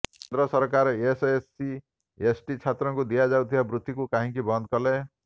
କେନ୍ଦ୍ର ସରକାର SC ST ଛାତ୍ରଙ୍କୁ ଦିଆଯାଉଥିବା ବୃତ୍ତିିକୁ କାହିଁକି ବନ୍ଦ କଲେ